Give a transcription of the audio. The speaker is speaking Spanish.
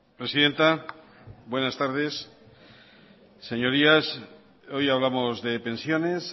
presidenta buenas tardes señorías hoy hablamos de pensiones